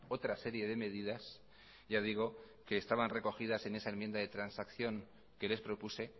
otra serie de medidas ya digo que estaban recogidas en esa enmienda de transacción que les propuse